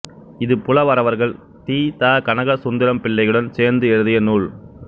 இது புலவரவர்கள் தி த கனகசுந்தரம்பிள்ளையுடன் சேர்ந்து எழுதிய நூல்